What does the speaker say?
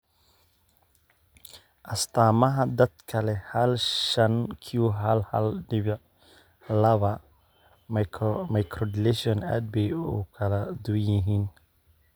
Astaamaha dadka leh hal shan q hal hal dibic labaa microdeletion aad bay u kala duwan yihiin.